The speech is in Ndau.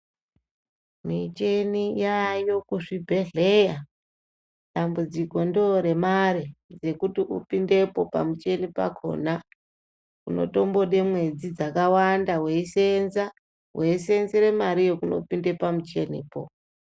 Micheni yayo kuzvibhedhleya dambudziko ndoremare rokuti upindepo pamucheni pakona. Unotombode mwedzi dzakawanda veiisenza, veisenzere mari yekunopinda pamuchenipo.